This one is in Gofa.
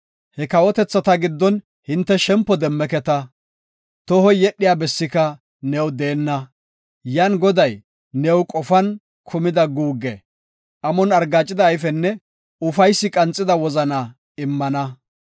He kawotethata giddon hinte shempo demmeketa; tohoy yedhiya bessika new deenna. Yan Goday new qofan kumida guugge, amon argaacida ayfenne ufaysi qanxida wozana immana.